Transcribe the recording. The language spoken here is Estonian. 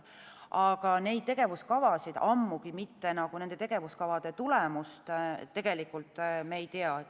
Aga neid tegevuskavasid, ammugi mitte nende tegevuskavade tulemust me tegelikult ei tea.